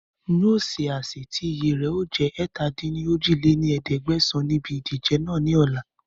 N yìí ó ṣe àsè tí iye rẹ̀ ó jẹ̀ ẹ̀ta-dín-ní-ojì lé ní ẹ̀ẹ́dẹ́gbẹ́sán Níbi ìdíje náà ni ọ̀la